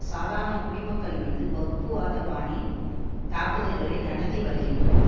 சாதாரண குடிமக்கள் மீது வகுப்பு வாத பாணி தாக்குதல்களை நடத்தி வருகின்றனர்